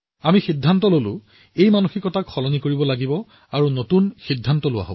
আমি এই মানসিকতা সলনি কৰিবলৈ আৰু নতুন প্ৰৱণতা গ্ৰহণ কৰাৰ সিদ্ধান্ত লৈছিলো